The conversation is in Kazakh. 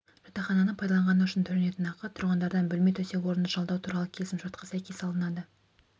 жатақхананы пайдаланғаны үшін төленетін ақы тұрғындардан бөлме төсек-орынды жалдау туралы келісімшартқа сәйкес алынады